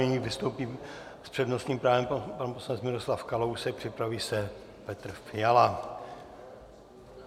Nyní vystoupí s přednostním právem pan poslanec Miroslav Kalousek, připraví se Petr Fiala.